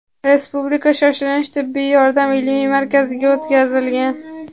Respublika shoshilinch tibbiy yordam ilmiy markaziga o‘tkazilgan.